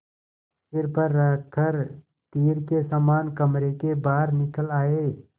सिर पर रख कर तीर के समान कमरे के बाहर निकल आये